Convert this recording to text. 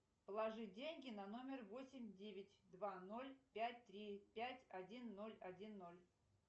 положи деньги на номер восемь девять два ноль пять три пять один ноль один ноль